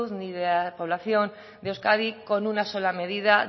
ni de la población de euskadi con una sola medida